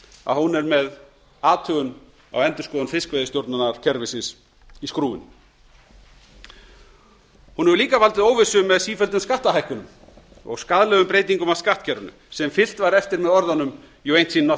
að hún er með athugun á endurskoðun fiskveiðistjórnarkerfisins í skrúfunni hún hefur líka valdið óvissu með sífelldum skattahækkunum og skaðlegum breytingum á skattkerfinu sem fylgt var eftir með orðunum you aint seen